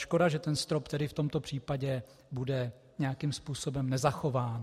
Škoda že ten strop, tedy v tomto případě, bude nějakým způsobem nezachován.